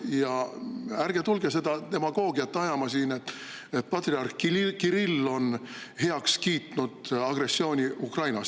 Ja ärge tulge ajama seda demagoogiat, et patriarh Kirill on heaks kiitnud agressiooni Ukrainas.